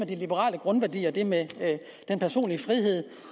de liberale grundværdier og det med den personlige frihed